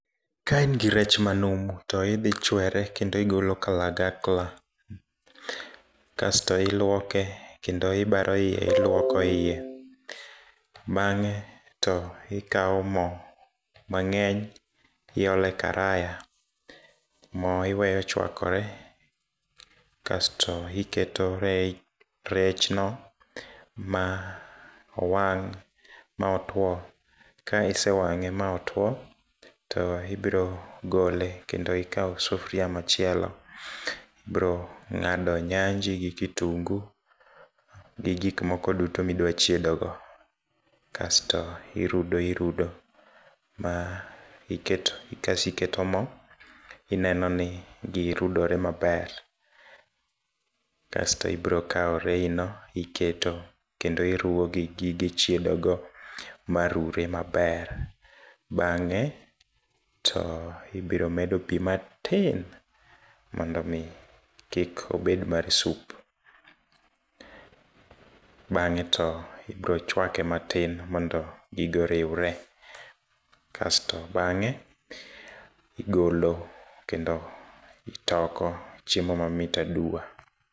Kain gi rech manumu to idhi ichwere kendo igolo kalagakla kasto iluoke kendo ibaro iye iluoko iye bang'e to ikao mo mang'eny iole karaya. Mo iweyo chuakore kasto iketo rechno maowang' maotuo, kaisewang'e maotwo to ibirogole kendo ikao sufria machielo ibiro ng'ado nyanji gi kitungu gi gikmoko tudo midwachiedogo kasto irudo irudo, kasto iketo mo inenoni girudore maber kasto ibirokao reyino iketo, kendo iruwo gi gige chiedogo marure maber, bang'e to ibiromedo pii matin mondomi kik obed mar sup. Bang'e to ibiro chuake matin mondo gigo oriure kasto bang'e igolo kendo itoko chiemo mamit aduwa.